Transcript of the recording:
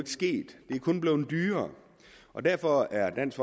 sket det er kun blevet dyrere derfor er dansk